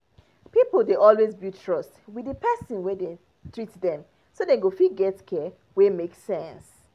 pipo dey always build trust with the person wey dey treat them so them go fit get care wey make sense.